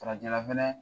Farajɛla fɛnɛ